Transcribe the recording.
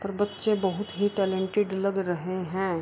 और बच्चे बहुत ही टैलेंटेड लग रहे हैं।